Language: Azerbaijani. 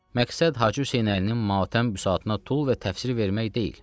Məqsəd Hacı Hüseynəlinin matəm bisatına tul və təfsir vermək deyil.